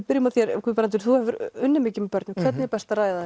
byrjum á þér Guðbrandur þú hefur unnið mikið með börnum hvernig er best að ræða